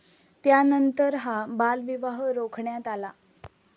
त्यानंतर हा बालविवाह रोखण्यात आला.